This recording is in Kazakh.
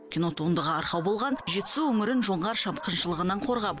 кинотуындыға арқау болған жетісу өңірін жоңғар шапқыншылығынан қорғап